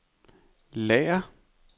lager